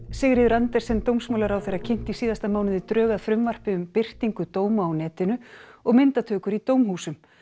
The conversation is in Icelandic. Sigríður Andersen dómsmálaráðherra kynnti í síðasta mánuði drög að frumvarpi um birtingu dóma á netinu og myndatökur í dómhúsum